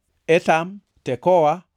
Bethlehem, Etam, Tekoa,